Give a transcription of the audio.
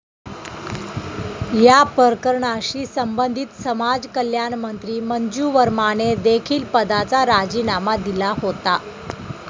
या प्रकरणाशी संबधित समाजकल्याणमंत्री मंजू वर्माने देखील पदाचा राजीनामा दिला होता.